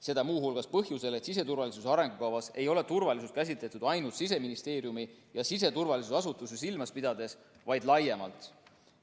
Seda muu hulgas põhjusel, et siseturvalisuse arengukavas ei ole turvalisust käsitletud ainult Siseministeeriumi ja siseturvalisuse asutusi silmas pidades, vaid laiemalt.